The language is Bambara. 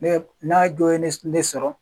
Ne n'a jɔw ye ne ne sɔrɔ.